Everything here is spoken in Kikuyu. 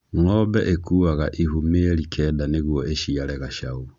Ng'ombe ĩkuaga ihu mĩeri kenda nĩguo ĩciare gacaũ.